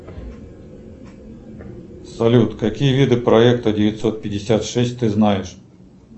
салют какие виды проекта девятьсот пятьдесят шесть ты знаешь